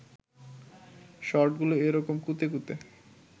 শর্টগুলো এ রকম কুঁতে কুঁতে